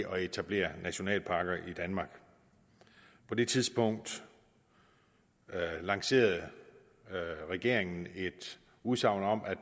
at etablere nationalparker i danmark på det tidspunkt lancerede regeringen et udsagn om at